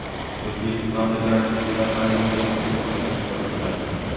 O‘zbekistonlik karatechilar Parijdagi musobaqada ishtirok etadi.